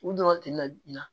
U dɔrɔn tɛ na